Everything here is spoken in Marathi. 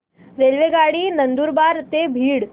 रेल्वेगाडी नंदुरबार ते बीड